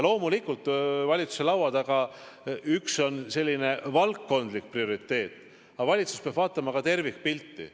Loomulikult, valitsuse laua taga on üks asi selline valdkondlik prioriteet, aga valitsus peab vaatama ka tervikpilti.